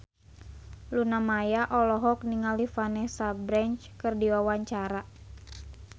Luna Maya olohok ningali Vanessa Branch keur diwawancara